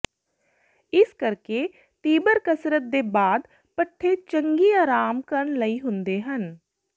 ਇਸ ਕਰਕੇ ਤੀਬਰ ਕਸਰਤ ਦੇ ਬਾਅਦ ਪੱਠੇ ਚੰਗੀ ਆਰਾਮ ਕਰਨ ਲਈ ਹੁੰਦੇ ਹਨ